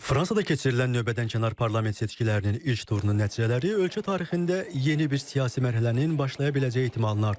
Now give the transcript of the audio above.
Fransada keçirilən növbədənkənar parlament seçkilərinin ilk turunun nəticələri ölkə tarixində yeni bir siyasi mərhələnin başlaya biləcəyi ehtimalını artırır.